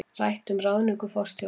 Rætt um ráðningu forstjórans